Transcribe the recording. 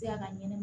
Seya ka ɲɛnama